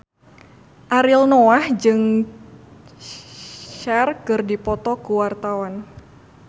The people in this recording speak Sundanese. Ariel Noah jeung Cher keur dipoto ku wartawan